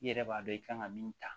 I yɛrɛ b'a dɔn i kan ka min ta